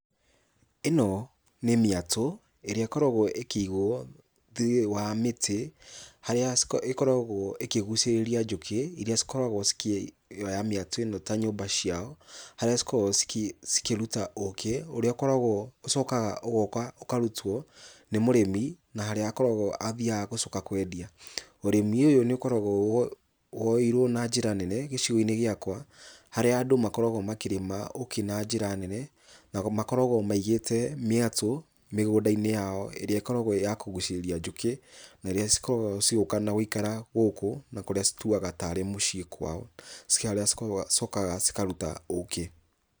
Ĩno nĩ mĩatũ, ĩrĩa ĩkoragwo ĩkĩigwo thĩinĩ wa mĩtĩ, harĩa ĩkoragwo ĩkĩgucĩrĩria njũkĩ, iria cikoragwo cikĩ oya mĩatũ ĩno ta nyũmba ciao, harĩa cikoragwo cikĩ cikĩruta ũkĩ, ũrĩa ũkoragwo ũcokaga ũgoka ũkarutwo nĩ mũrimi, na harĩa akoragwo athiaga gũcoka kwendia. Ũrĩmi ũyũ nĩũkoragwo wo woeirwo na jĩra nene gĩcigoinĩ gĩakwa, harĩa andũ makoragwo makĩrĩma ũkĩ na njĩra nene na makoragwo maigĩte mĩatũ, mĩgũndainĩ yao, ĩrĩa ĩkoragwo ya kũgucĩrĩria njũkĩ, na iria cikoragwo cigĩũka na gũikara gũkũ na kũrĩa cituaga tarĩ mũciĩ kwao, harĩa cicokaga cikaruta ũkĩ.